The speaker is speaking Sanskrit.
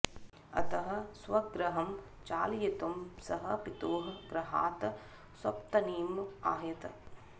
अतः स्वगृहं चालयितुं सः पितुः गृहात् स्वपत्नीम् आह्वयत्